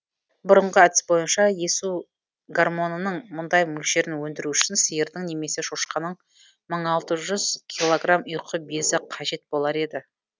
бұрынғы әдіс бойынша өсу гормонының мұндай мөлшерін өндіру үшін сиырдың немесе шошқаның мың алты жүз килограмм ұйқы безі қажет болар еді